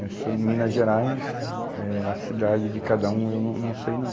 Eu sou em Minas Gerais, eh a cidade de cada um eu não, não sei não.